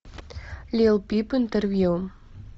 лил пип интервью